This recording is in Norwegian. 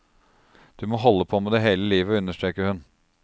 Du må holde på med det hele livet, understreker hun.